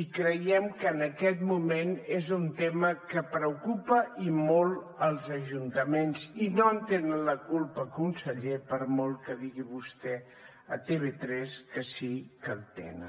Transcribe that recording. i creiem que en aquest moment és un tema que preocupa i molt els ajuntaments i no en tenen la culpa conseller per molt que digui vostè a tv3 que sí que la tenen